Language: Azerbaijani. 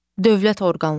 Dövlət orqanları.